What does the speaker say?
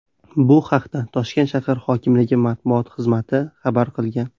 Bu haqda Toshkent shahar hokimligi matbuot xizmati xabar qilgan .